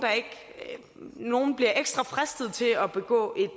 ekstra fristet til at begå